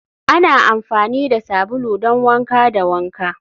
ana amfani da sabulu don wanka da wanka